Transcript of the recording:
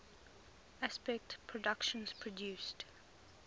aspect productions produced